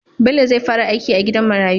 Bello zai fara aiki a gidan marayu